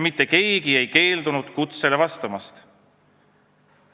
Mitte keegi ei keeldunud kutsele vastamast.